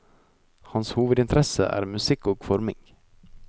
Hans hovedinteresse er musikk og forming.